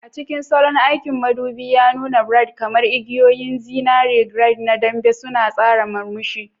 A cikin salon aiki, madubi ya nuna braids kamar igiyoyin zinare, grid na dambe suna tsara murmushi.